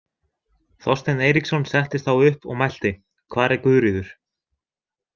Þorsteinn Eiríksson settist þá upp og mælti: „Hvar er Guðríður“?